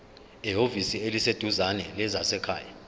ehhovisi eliseduzane lezasekhaya